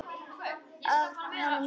Af honum Bóasi?